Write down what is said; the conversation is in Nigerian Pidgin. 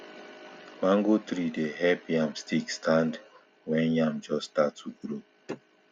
mango tree dey help yam stick stand when yam just dey start to grow